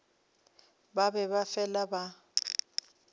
ba be ba fele ba